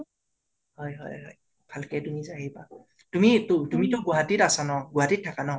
হয় হয় হয় । ভালকে তুমি যাই আহিবা। তুমিটো তুমিটো গুৱাহাটীত আছা ন. গুৱাহাটীত থাকা ন.